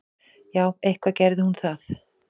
Já, eitthvað gerði hún það.